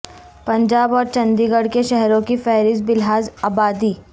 پنجاب اور چندی گڑھ کے شہروں کی فہرست بلحاظ ابادی